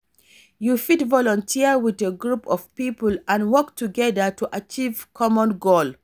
You fit volunteer with a group of people and work together to achieve common goal.